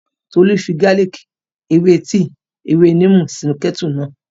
Tolú fi gálìkì, ewé tíì, ewé níìmù sínu kẹ́ẹ́tù náà